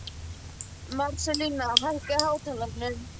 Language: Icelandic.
Marselína, hækkaðu í hátalaranum.